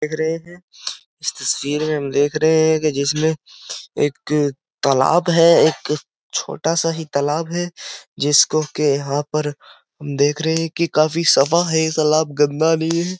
देख रहे है। इस तस्वीर में हम देख रहे है कि जिसमें एक तालाब है। एक छोटा सा ही तालाब है जिसको के यहाँ पर देख रहे है काफी सफा है। तालाब गंदा नही है।